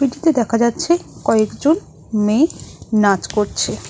দেখা যাচ্ছে কয়েকজন মেয়ে নাচ করছে।